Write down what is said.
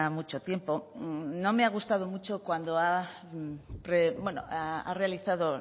mucho tiempo no me ha gustado mucho cuando ha realizado